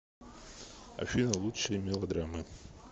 афина лучшее мелодрамы